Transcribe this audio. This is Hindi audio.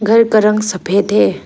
घर का रंग सफेद है।